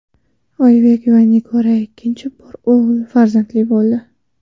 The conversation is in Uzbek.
Oybek va Nigora ikkinchi bor o‘g‘il farzandli bo‘ldi.